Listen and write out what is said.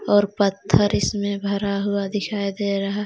और पत्थर इसमें भरा हुआ दिखाई दे रहा--